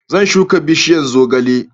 Zan shuka bishiyan zogale